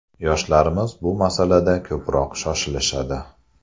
Yoshlarimiz bu masalada ko‘proq shoshilishadi.